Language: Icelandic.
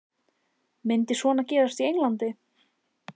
Myndi svona gerast í Englandi?